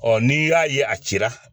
n'i y'a ye a ci